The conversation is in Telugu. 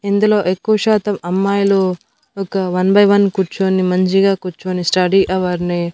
ఇందులో ఎక్కువ శాతం అమ్మాయిలు ఒక వన్ బై వన్ కూర్చొని మంచిగా కూర్చొని స్టడీ అవర్ ని.